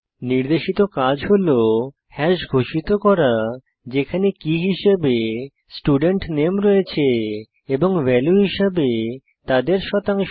নির্দেশিত কাজ হল হাশ ঘোষিত করা যেখানে কী হিসাবে স্টুডেন্ট নামে রয়েছে এবং ভ্যালু হিসাবে তাদের শতাংশ